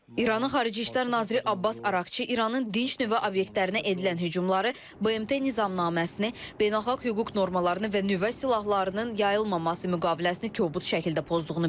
İranın Xarici İşlər naziri Abbas Araqçı İranın dinc nüvə obyektlərinə edilən hücumları BMT nizamnaməsini, beynəlxalq hüquq normalarını və nüvə silahlarının yayılmaması müqaviləsini kobud şəkildə pozduğunu bildirib.